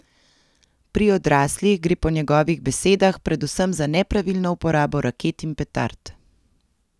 Pri odraslih gre po njegovih besedah predvsem za nepravilno uporabo raket in petard.